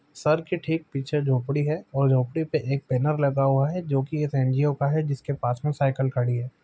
Sir के ठीक पीछे झोपड़ी है और झोपड़ी पे एक बेनर लगा हुआ है जो की इस एनजीओ का है जिसके पास मे साइकिल खड़ी है।